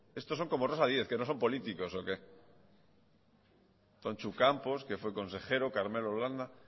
estos son como rosa díez que no son políticos o qué tontxu campos que fue consejero carmelo landa